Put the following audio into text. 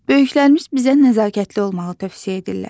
Böyüklərimiz bizə nəzakətli olmağı tövsiyə edirlər.